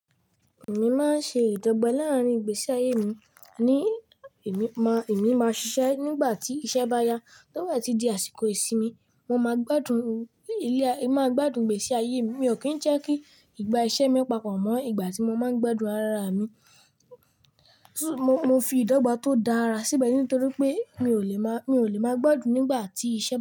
Èmi máa ń ṣe ìdọ́gba láàárín ìgbésí ayé mi. Ni èmi máa, èmi máa ṣiṣẹ́ nígbà tí iṣẹ́ bá ya. Tó bá ti di àsìkò ìsinmi, mo máa gbádùn ilé, è máa gbádùn ìgbésí ayé mi. Mi ò kí ń jẹ́ kí ìgbà iṣẹ́ mi papọ̀ mọ́ ìgbà tí mo máa ń gbádùn arára mi. Mo fi ìdọ́gba tó dára síbẹ̀ nítorí pé mi ò lè má, mi ò lè máa gbádùn nígbà tí iṣẹ́ bá y.